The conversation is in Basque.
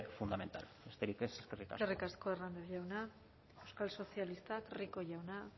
fundamental besterik ez eskerrik asko eskerrik asko hernández jauna euskal sozialistak rico jauna